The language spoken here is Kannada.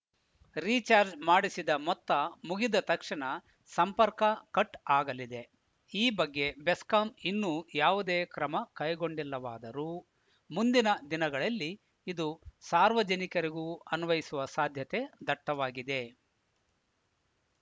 ರಿಚಾರ್ಜ್ ಮಾಡಿಸಿದ ಮೊತ್ತ ಮುಗಿದ ತಕ್ಷಣ ಸಂಪರ್ಕ ಕಟ್‌ ಆಗಲಿದೆ ಈ ಬಗ್ಗೆ ಬೆಸ್ಕಾಂ ಇನ್ನೂ ಯಾವುದೇ ಕ್ರಮ ಕೈಗೊಂಡಿಲ್ಲವಾದರೂ ಮುಂದಿನ ದಿನಗಳಲ್ಲಿ ಇದು ಸಾರ್ವಜನಿಕರಿಗೂ ಅನ್ವಯಿಸುವ ಸಾಧ್ಯತೆ ದಟ್ಟವಾಗಿದೆ